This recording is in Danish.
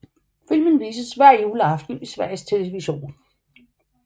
Filmen vises hver juleaften i Sveriges Television